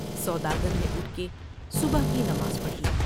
سوداگر نے اٹھ کے صبح کی نماز پڑھی ۔